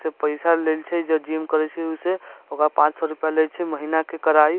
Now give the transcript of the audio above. से पैसा लेइल छै जे जिम करे छै ओय से ओकरा पान सौ रुपया ले छै महीना के कराई।